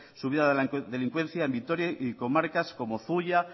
subida de la delincuencia en vitoria y comarcas como zuia